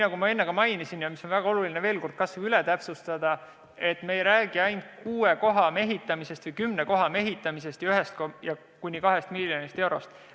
Nagu ma enne mainisin – ja on väga oluline see veel kord üle täpsustada –, me ei räägi ainult kuue või kümne koha mehitamisest ja 1–2 miljonist eurost.